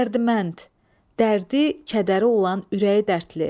Dərdimənd, dərdi, kədəri olan ürəyi dərdli.